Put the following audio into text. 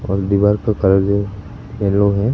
और दीवार का कलर जो येलो है।